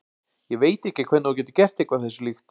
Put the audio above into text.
Ég veit ekki hvernig þú getur gert eitthvað þessu líkt.